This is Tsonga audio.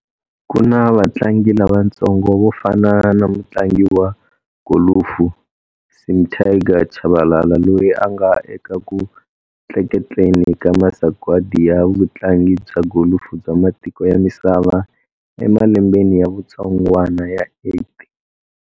Ku na vatlangi lavatsongo vo fana na mutlangi wa golufu Sim 'Tiger'Tshabalala loyi a nga eka ku tleketleni ka masagwati ya vutlangi bya golufu bya matiko ya misava emalembeni ya vutsongwana ya 8.